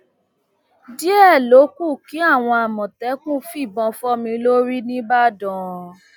díẹ ló kù kí àwọn àmọtẹkùn fìbọn fọ mi lórí nìbàdàn